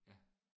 Ja